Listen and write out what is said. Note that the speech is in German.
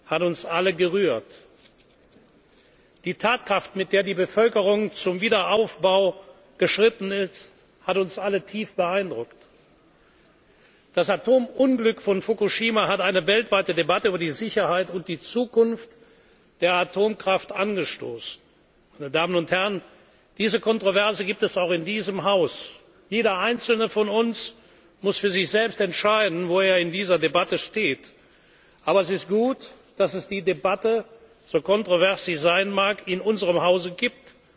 hat uns alle gerührt. Die Tatkraft, mit der die Bevölkerung zum Wiederaufbau geschritten ist, hat uns alle tief beeindruckt. Das Atomunglück von Fukushima hat eine weltweite Debatte über die Sicherheit und die Zukunft der Atomkraft angestoßen. Diese kontroverse Debatte gibt es auch in diesem Haus. Jeder Einzelne von uns muss für sich selbst entscheiden, wo er in dieser Debatte steht. Aber es ist gut, dass es die Debatte so kontrovers sie sein mag in unserem